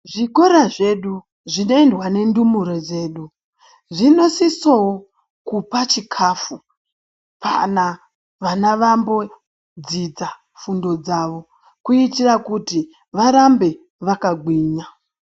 Zvikora zvedu zvinoendwa nendumure dzedu zvinosisawo kupa chikafu kana vana vambodzidza fundo dzawo kuitira kuti varambe vakagwinya.